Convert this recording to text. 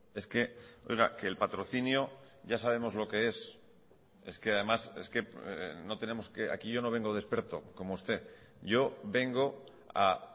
es que oiga que el patrocinio ya sabemos lo que es es que además es que no tenemos que aquí yo no vengo de experto como usted yo vengo a